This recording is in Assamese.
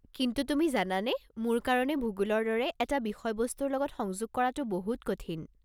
কিন্তু তুমি জানানে, মোৰ কাৰণে ভূগোলৰ দৰে এটা বিষয়বস্তুৰ লগত সংযোগ কৰাটো বহুত কঠিন।